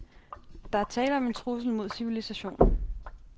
Der er tale om en trussel mod civilisationen.